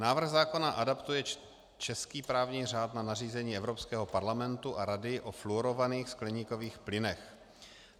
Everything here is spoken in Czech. Návrh zákona adaptuje český právní řád na nařízení Evropského parlamentu a rady o fluorovaných skleníkových plynech.